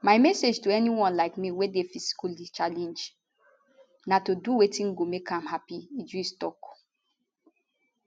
my message to anyone like me wey dey physically challenged na to do wetin go make you happy idris tok